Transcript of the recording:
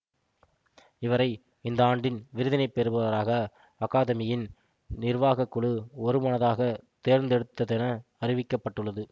இவரை இந்த ஆண்டின் விருதினை பெறுபவராக அகாதெமியின் நிர்வாக குழு ஒருமனதாக தேர்ந்தெடுத்ததென அறிவிக்க பட்டுள்ளது